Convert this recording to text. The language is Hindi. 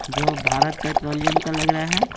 जो भारत पेट्रोलियम का लग रहा है।